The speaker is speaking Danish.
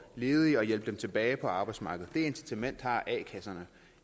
ledige og hjælpe dem tilbage på arbejdsmarkedet det incitament har a kasserne